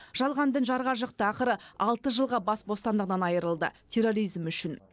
жалған дін жарға жықты ақыры алты жылға бас бостандығынан айрылды терроризм үшін